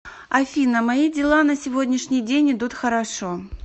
афина мои дела на сегодняшний день идут хорошо